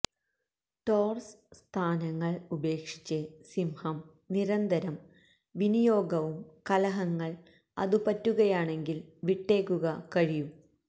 ടോർസ് സ്ഥാനങ്ങൾ ഉപേക്ഷിച്ച് സിംഹം നിരന്തരം വിനിയോഗവും കലഹങ്ങൾ അതു പറ്റുകയാണെങ്കിൽ വിട്ടേക്കുക കഴിയും